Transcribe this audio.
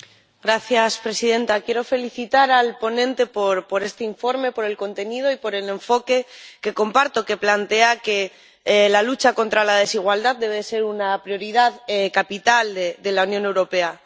Señora presidenta, quiero felicitar al ponente por este informe, por el contenido y por el enfoque, que comparto, que plantea que la lucha contra la desigualdad debe ser una prioridad capital de la Unión Europea.